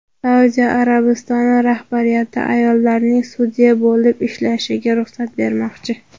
Saudiya Arabistoni rahbariyati ayollarning sudya bo‘lib ishlashiga ruxsat bermoqchi.